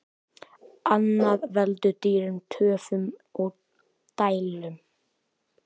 Annað veldur dýrum töfum og deilum.